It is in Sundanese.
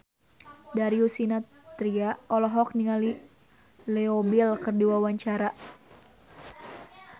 Darius Sinathrya olohok ningali Leo Bill keur diwawancara